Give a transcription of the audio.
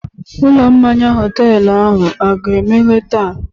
Ụlọ mmanya họtelu ahụ a ga-emeghe taa?